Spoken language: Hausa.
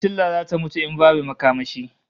Fitila zata mutu in babu makamashi